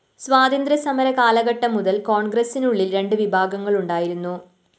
സ്വാതന്ത്ര്യ സമരകാലഘട്ടം മുതല്‍ കോണ്‍ഗ്രസിനുള്ളില്‍ രണ്ടു വിഭാഗങ്ങളുണ്ടായിരുന്നു